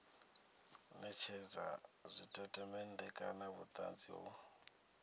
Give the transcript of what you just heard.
netshedza tshitatamennde kana vhutanzi ho